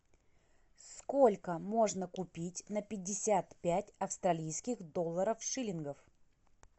сколько можно купить на пятьдесят пять австралийских долларов шиллингов